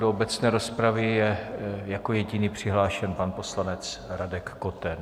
Do obecné rozpravy je jako jediný přihlášen pan poslanec Radek Koten.